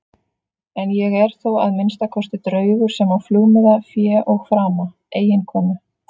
En ég er þó að minnsta kosti draugur sem á flugmiða, fé og frama, eiginkonu.